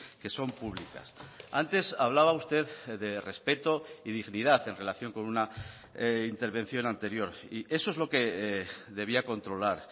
que son públicas antes hablaba usted de respeto y dignidad en relación con una intervención anterior y eso es lo que debía controlar